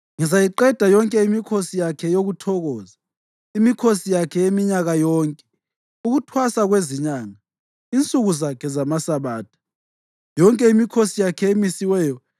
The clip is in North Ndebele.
Ngizayiqeda yonke imikhosi yakhe yokuthokoza: imikhosi yakhe yeminyaka yonke, ukuThwasa kweziNyanga, insuku zakhe zamaSabatha, yonke imikhosi yakhe emisiweyo.